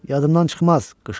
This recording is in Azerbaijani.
Yadımdan çıxmaz,